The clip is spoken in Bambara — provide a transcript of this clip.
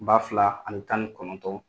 Ba fila ani tan ni kɔnɔntɔn